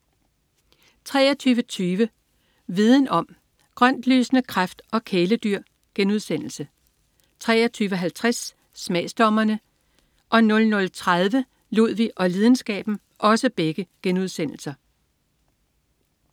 23.20 Viden om: Grøntlysende kræft og kæledyr* 23.50 Smagsdommerne* 00.30 Ludvig og lidenskaben*